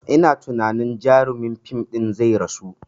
Ina tunani jarumin fim ɗin zai rasu